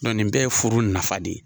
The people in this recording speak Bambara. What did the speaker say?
nin bɛɛ ye furu nafa de ye.